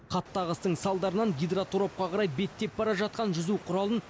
қатты ағыстың салдарынан гидроторапқа қарай беттеп бара жатқан жүзу құралын